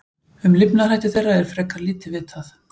Um lifnaðarhætti þeirra er frekar lítið vitað.